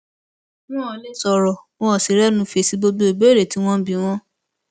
wọn ò lè sọrọ wọn ò sì rẹnu fèsì gbogbo ìbéèrè tí wọn ń bi wọn